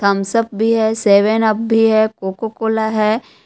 Thums Up भी है Seven Up भी है कोको कोला है।